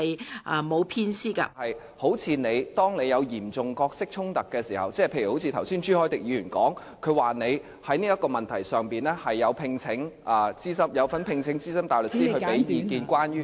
雖然《議事規則》沒有明文規定當你有嚴重角色衝突的時候，例如好像朱凱廸議員剛才說你在這個問題上有聘請資深大律師提供意見，關於......